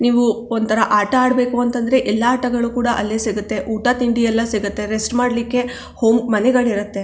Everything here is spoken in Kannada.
ನೀವು ಒಂತರ ಆಟ ಆಡಬೇಕು ಅಂತ ಅಂದ್ರೆ ಎಲ್ಲಾ ಆಟಗಳು ಕೂಡ ಅಲ್ಲೆ ಸಿಗುತ್ತೆ ಊಟ ತಿಂಡಿ ಎಲ್ಲಾ ಸಿಗುತ್ತೆ ರೆಸ್ಟ್ ಮಾಡಲಿಕ್ಕೆ ಹೋಮ್ ಮನೆಗಳಿರುತ್ತೆ.